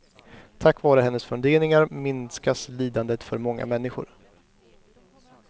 Tack vare hennes funderingar minskas lidandet för många människor.